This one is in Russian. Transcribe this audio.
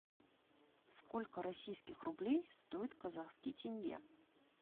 сколько российских рублей стоит казахский тенге